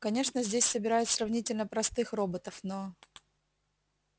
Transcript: конечно здесь собирают сравнительно простых роботов но